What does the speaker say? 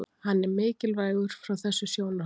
Hann er mikilvægur frá þessu sjónarhorni.